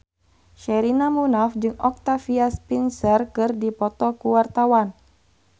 Sherina Munaf jeung Octavia Spencer keur dipoto ku wartawan